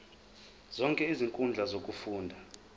zonke izinkundla zokufunda